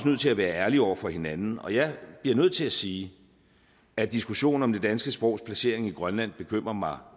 nødt til at være ærlige over for hinanden og jeg bliver nødt til at sige at diskussionen om det danske sprogs placering i grønland bekymrer mig